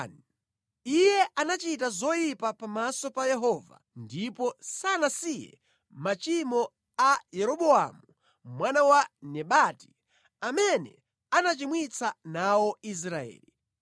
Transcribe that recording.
Iye anachita zoyipa pamaso pa Yehova ndipo sanasiye machimo a Yeroboamu mwana wa Nebati, amene anachimwitsa nawo Israeli.